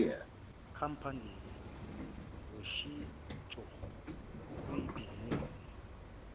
companies ngoshintsho kwibhizinisi